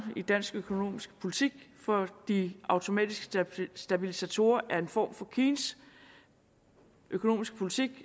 i dansk økonomisk politik for de automatiske stabilisatorer er en form for keynes økonomiske politik